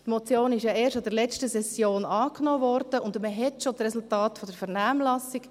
Die Motion wurde ja erst in der letzten Session angenommen, und man hat bereits die Resultate aus der Vernehmlassung.